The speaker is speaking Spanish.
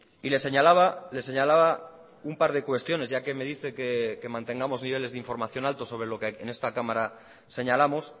y le señalaba le señalaba un par de cuestiones ya que me dice que mantengamos niveles de información alto sobre lo que en esta cámara señalamos